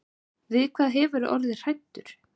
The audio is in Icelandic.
Við hvað hefurðu orðið hræddur.